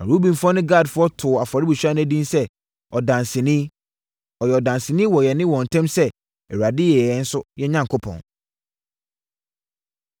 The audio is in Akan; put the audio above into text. Na Rubenfoɔ ne Gadfoɔ too afɔrebukyia no edin sɛ “Ɔdanseni,” ɔyɛ ɔdanseni wɔ yɛne wɔn ntam sɛ Awurade yɛ yɛn nso Onyankopɔn.